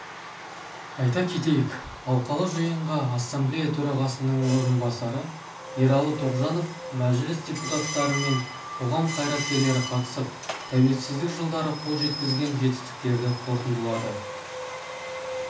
айта кетейік алқалы жиынға ассамблея төрағасының орынбасары ералы тоғжанов мәжіліс депутаттары мен қоғам қайраткерлері қатысып тәуелсіздік жылдары қол жеткізген жетістіктерді қорытындылады